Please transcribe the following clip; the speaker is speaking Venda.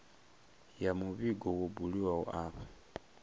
ya muvhigo wo buliwaho afho